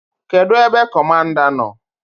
Kedụ ebe Kọmanda nọ?